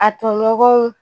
A tɔɲɔgɔnw